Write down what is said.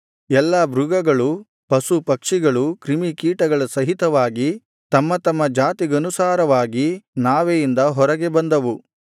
ಎಲ್ಲಾ ಮೃಗಗಳು ಪಶು ಪಕ್ಷಿಗಳು ಕ್ರಿಮಿಕೀಟಗಳ ಸಹಿತವಾಗಿ ತಮ್ಮತಮ್ಮ ಜಾತಿಗನುಸಾರವಾಗಿ ನಾವೆಯಿಂದ ಹೊರಗೆ ಬಂದವು